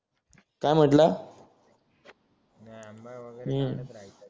काय म्हंटला हम्म